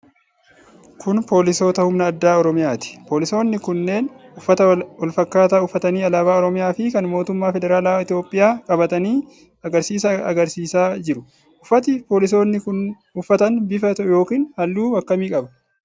Kun poolisoota humna addaa Oromiyaati. Polisoonni kunneen uffata walfakkataa uffatanii alaabaa Oromiyaa fi kan mootummaa Federaalaa Itoophiyaa qabatanii agarsiisa agarsiisaa jiru. Uffati poolisoonni kun uffatan bifa yookiin halluu akkamii qaba?